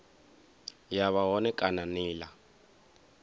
ya vha hone kana nila